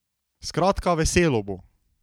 Skratka, veselo bo!